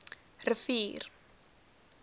rivier